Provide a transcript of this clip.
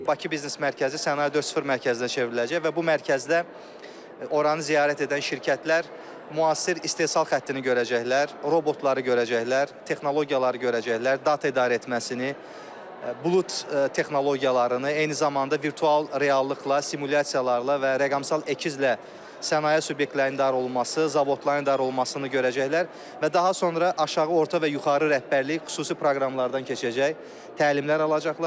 Bakı Biznes Mərkəzi Sənaye 4.0 Mərkəzinə çevriləcək və bu mərkəzdə oranı ziyarət edən şirkətlər müasir istehsal xəttini görəcəklər, robotları görəcəklər, texnologiyaları görəcəklər, data idarə etməsini, bulud texnologiyalarını, eyni zamanda virtual reallıqla, simulyasiyalarla və rəqəmsal əkizlə sənaye subyektlərinin idarə olunması, zavodların idarə olunmasını görəcəklər və daha sonra aşağı, orta və yuxarı rəhbərlik xüsusi proqramlardan keçəcək, təlimler alacaqlar.